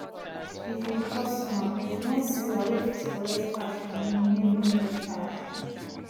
if you be customer patronize seller wey fit collect cash from you when you no get cash